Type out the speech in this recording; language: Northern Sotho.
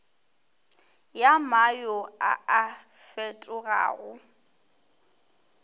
ya mayo a a fetogago